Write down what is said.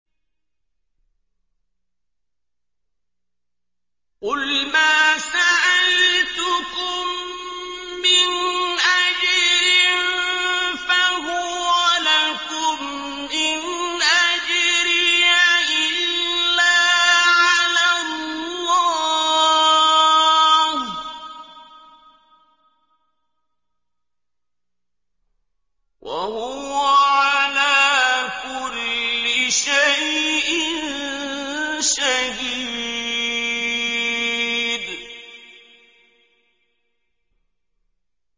قُلْ مَا سَأَلْتُكُم مِّنْ أَجْرٍ فَهُوَ لَكُمْ ۖ إِنْ أَجْرِيَ إِلَّا عَلَى اللَّهِ ۖ وَهُوَ عَلَىٰ كُلِّ شَيْءٍ شَهِيدٌ